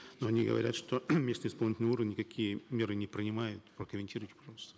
но они говорят что местные исполнительные органы никакие меры не принимают прокомментируйте пожалуйста